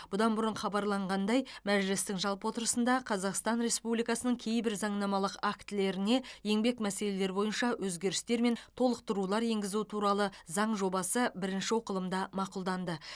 бұдан бұрын хабарланғандай мәжілістің жалпы отырысында қазақстан республикасының кейбір заңнамалық актілеріне еңбек мәселелері бойынша өзгерістер мен толықтырулар енгізу туралы заң жобасы бірінші оқылымда мақұлданды